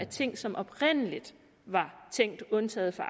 ting som oprindelig var tænkt undtaget fra